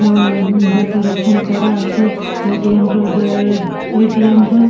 উহঃ decoration করা আছে ATM. To ATM. তো।